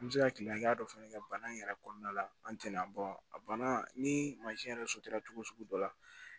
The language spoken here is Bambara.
An bɛ se ka kile hakɛya dɔ fana kɛ bana in yɛrɛ kɔnɔna la an tɛna a banna ni mansin yɛrɛ cogo sugu dɔ la